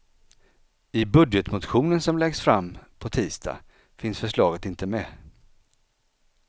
I budgetmotionen som läggs fram på tisdag finns förslaget inte med.